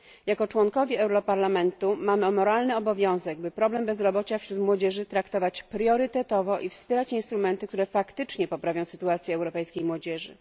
Jako członkowie Europarlamentu mamy moralny obowiązek, by problem bezrobocia wśród młodzieży traktować priorytetowo i wspierać instrumenty, które faktycznie poprawią sytuację europejskiej młodzieży.